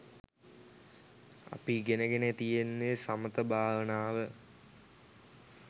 අපි ඉගෙන ගෙන තියෙන්නෙ සමථ භාවනාව.